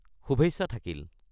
শুভেচ্ছা থাকিল!